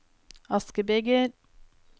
askebeger